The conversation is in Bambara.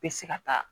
Bɛ se ka taa